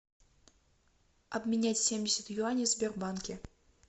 обменять семьдесят юаней в сбербанке